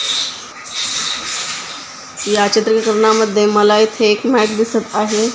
या चित्रीकरणामध्ये मला इथे एक मॅट दिसत आहे.